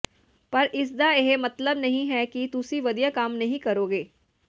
ਪਰ ਇਸ ਦਾ ਇਹ ਮਤਲਬ ਨਹੀਂ ਹੈ ਕਿ ਤੁਸੀਂ ਵਧੀਆ ਕੰਮ ਨਹੀਂ ਕਰੋਗੇ